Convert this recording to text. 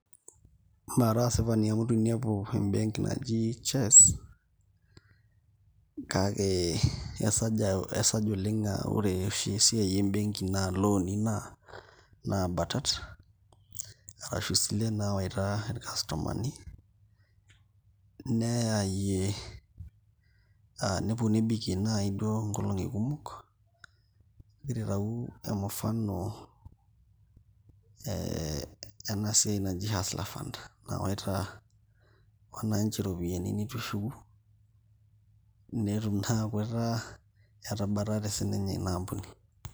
Mara asipani amu itu ainepu embenki naji Chess kake esaj oleng' aa ore oshi esiai embenki naa looni naabatat arashu isilen naawaita irkastomani neyaayie nepuo nebikie naai duo nkolong'i kumok, agira aitayu mfano ena siai naji Hustler Fund nawaita wananchi iropiyiani nitu eshuku netum naa aaku etaa etabatate sininye ina ampuni.